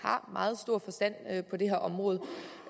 har meget stor forstand på det her område